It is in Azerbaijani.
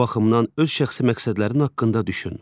Bu baxımdan öz şəxsi məqsədlərin haqqında düşün.